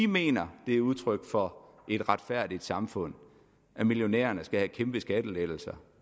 mener det er udtryk for et retfærdigt samfund at millionærerne skal have kæmpe skattelettelser